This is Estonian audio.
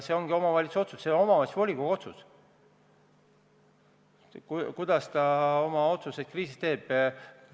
See ongi omavalitsuse otsus, see on omavalitsuse volikogu otsus, kuidas ta kriisi ajal tegutseb.